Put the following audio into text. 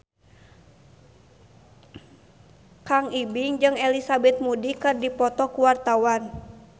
Kang Ibing jeung Elizabeth Moody keur dipoto ku wartawan